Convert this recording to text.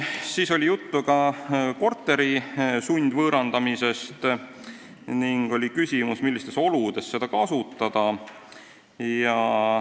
Veel oli juttu korteri sundvõõrandamisest ning oli küsimus, millistes oludes seda võiks kasutada.